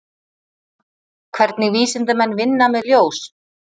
Hvernig vísindamenn vinna með ljós?